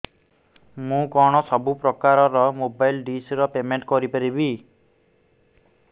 ମୁ କଣ ସବୁ ପ୍ରକାର ର ମୋବାଇଲ୍ ଡିସ୍ ର ପେମେଣ୍ଟ କରି ପାରିବି